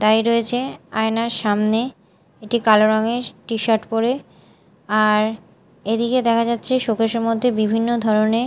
দাঁড়িয়ে রয়েছে আয়নার সামনে একটি কালো রঙের টিশার্ট পরে আর এদিকে দেখা যাচ্ছে সোকেস -এর মধ্যে বিভিন্ন ধরনে---